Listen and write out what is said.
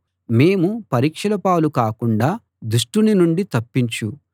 మేము పరీక్షల పాలు కాకుండా దుష్టుని నుండి తప్పించు